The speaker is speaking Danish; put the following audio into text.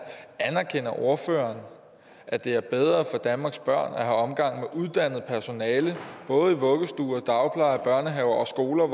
anerkender ordføreren at det er bedre for danmarks børn at have omgang med uddannet personale både i vuggestuer dagplejer børnehaver og skoler